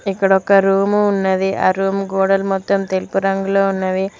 ఇక్కడ ఒక రూము ఉన్నది ఆ రూమ్ గోడలు మొత్తం తెలుపురంగులో ఉన్నవి.